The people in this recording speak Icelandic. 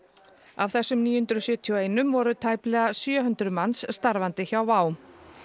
af þessum níu hundruð sjötíu og eitt voru tæplega sjö hundruð manns starfandi hjá WOW